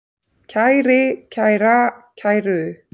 kæri, kæra, kæru